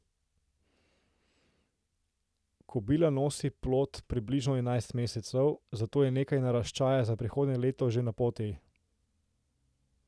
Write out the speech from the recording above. Kobila nosi plod približno enajst mesecev, zato je nekaj naraščaja za prihodnje leto že na poti.